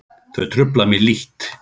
Þau trufla mig lítt.